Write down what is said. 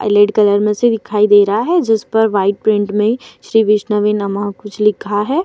Colour में से दिखाई दे रहा है जिस पर वाइट प्रिंट में श्री विष्णवे नम: कुछ लिखा है।